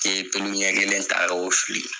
I ye ɲɛ kelen ta k'o fili